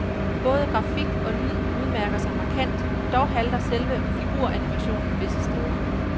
Både grafik og lyd udmærker sig markant, dog halter selve figuranimationen visse steder.